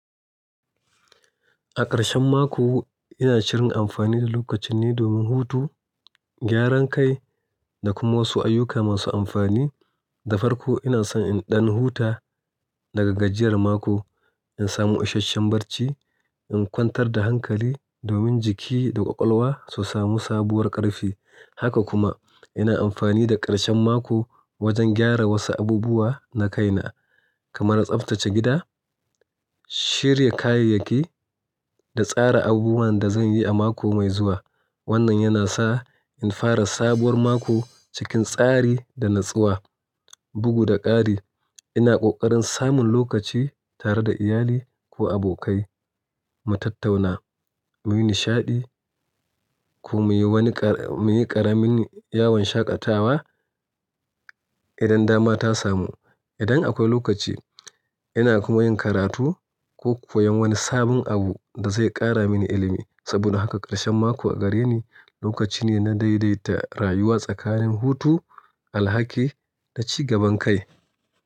A ƙarshen mako, ina shirin amfani da lokacinne domin hutu, gyaran kai, da kuma wasu ayyuka masu amfani Da farko ina so in ɗan huta daga gajiyar mako, in samu ishasshen barci, in kwantar da hankali domin jiki da ƙwaƙwalwa su samu sabuwar ƙarfi Haka kuma ina amfani da ƙarshen mako wajen gyara wasu abubuwa na kaina kamar tsaftace gida, shirya kayayyaki da tsara abubuwan da zan yi a mako mai zuwa. Wannan yana sa in fara sabuwar mako cikin tsari da natsuwa. Bugu da ƙari, ina ƙoƙarin samun lokaci tare da iyali ko abokai, mu tattauna, mu yi nishaɗi, ko mu yi wani, mu yi ƙaramin yawon shaƙatawa idan dama ta samu. Idan akwai lokaci, ina kuma yin karatu, ko koyon wani sabon abu da zai ƙara mini ilimi. Saboda haka karshen mako a gareni, lokaci ne na daidaita rayuwa tsakanin hutu, alhaki, da cigaban kai.